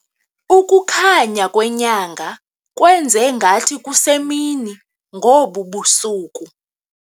Ukukhanya kwenyanga kwenze ngathi kusemini ngobu busuku.